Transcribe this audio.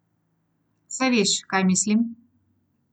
Saj veš, kaj mislim?